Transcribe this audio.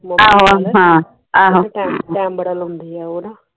time time ਬੜਾ ਲਾਉਂਦੀ ਆ